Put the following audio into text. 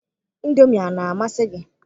Ịndomi ana amasị gị?